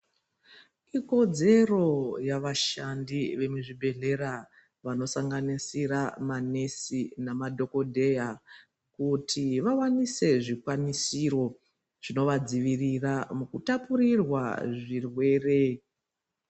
Ikodzero yevashandi vemuzvibhedhlera vanosanganisira manesi nemadhogodheya kuti vawanise zvikwanisiro zvinovadzivirira mukutapurirwa zvirwere.